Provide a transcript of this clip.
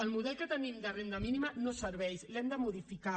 el model que tenim de renda mínima no serveix l’hem de modificar